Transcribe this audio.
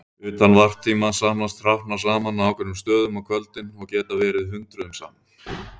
Utan varptíma safnast hrafnar saman á ákveðnum stöðum á kvöldin og geta verið hundruðum saman.